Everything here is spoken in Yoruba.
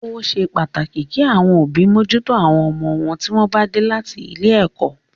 Ó ṣe pàtàkì kí àwọn òbí mójútó àwọn ọmọ wọn tí wọ́n bá dé láti ilé ẹ̀kọ́.